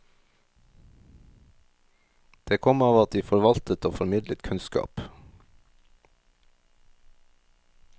Det kom av at de forvaltet og formidlet kunnskap.